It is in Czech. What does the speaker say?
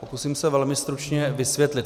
Pokusím se velmi stručně vysvětlit.